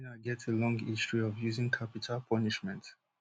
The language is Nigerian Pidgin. china get a long history of using capital punishment